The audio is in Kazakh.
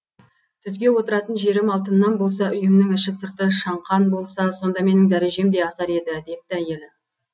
түзге отыратын жерім алтыннан болса үйімнің іші сырты шаңқан болса сонда менің дәрежем де асар еді депті әйелі